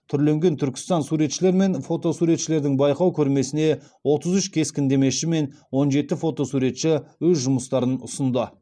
түрленген түркістан суретшілер мен фото суретшілердің байқау көрмесіне отыз үш кескіндемеші мен он жеті фотосуретші өз жұмыстарын ұсынды